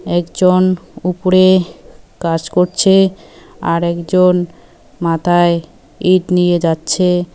একজন উপরে কাজ করছে আর একজন মাথায় ইট নিয়ে যাচ্ছে।